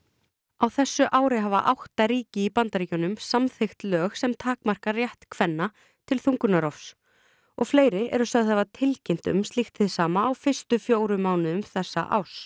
á þessu ári hafa átta ríki í Bandaríkjunum samþykkt lög sem takmarka rétt kvenna til þungunarrofs og fleiri eru sögð hafa tilkynnt um slíkt hið sama á fyrstu fjóru mánuðum þessa árs